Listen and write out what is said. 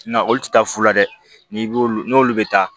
Na olu tɛ taa fu la dɛ n'i b'olu n'olu bɛ taa